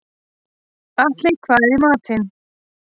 Atli, hvað er í matinn?